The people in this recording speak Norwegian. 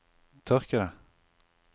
tørkede